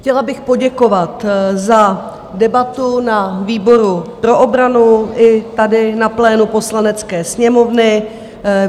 Chtěla bych poděkovat za debatu na výboru pro obranu i tady na plénu Poslanecké sněmovny.